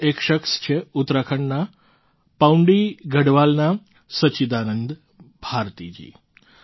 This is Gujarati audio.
આવા જ એક શખ્સ છે ઉત્તરાખંડના પૌંડી ગઢવાલના સચ્ચિદાનંદ ભારતીજી